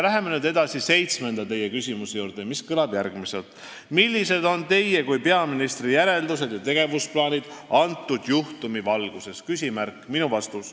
Läheme nüüd edasi teie seitsmenda küsimuse juurde, mis kõlab järgmiselt: "Millised on Teie kui peaministri järeldused ja tegevusplaanid antud juhtumi valguses?